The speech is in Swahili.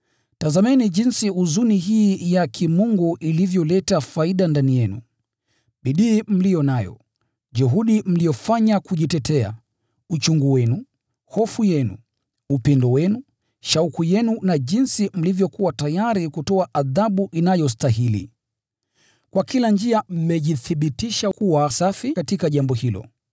Tazameni jinsi huzuni hii ya kimungu ilivyoleta faida ndani yenu: bidii mliyo nayo, juhudi mliyofanya kujitetea, uchungu wenu, hofu yenu, upendo wenu, shauku yenu na jinsi mlivyokuwa tayari kutoa adhabu inayostahili. Kwa kila njia mmejithibitisha kuwa safi katika jambo hilo.